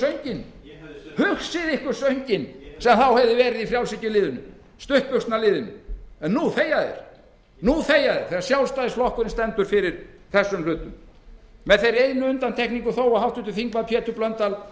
gjaldeyrishöft hugsið ykkur sönginn sem þá hefði verið í frjálshyggjuliðinu stuttbuxnaliðinu nú þegja þeir þegar sjálfstæðisflokkurinn stendur fyrir þessum hlutum með þeirri einu undantekningu þó að háttvirtur þingmaður pétur blöndal